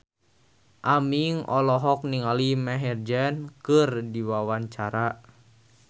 Aming olohok ningali Maher Zein keur diwawancara